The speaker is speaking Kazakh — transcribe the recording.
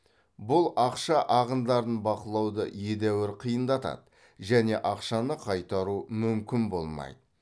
бұл ақша ағындарын бақылауды едәуір қиындатады және ақшаны қайтару мүмкін болмайды